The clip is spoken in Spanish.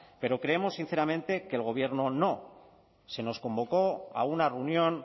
pero creemos sinceramente que el gobierno no se nos convocó a una reunión